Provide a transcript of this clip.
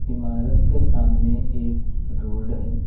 इमारत के सामने एक रोड है।